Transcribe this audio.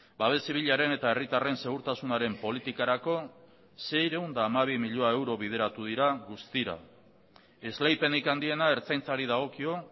babes zibilaren eta herritarren segurtasunaren politikarako seiehun eta hamabi milioi euro bideratu dira guztira esleipenik handiena ertzaintzari dagokio